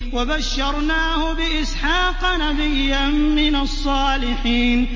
وَبَشَّرْنَاهُ بِإِسْحَاقَ نَبِيًّا مِّنَ الصَّالِحِينَ